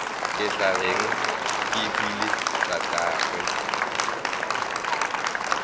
ke tla reng kehwile tatagwe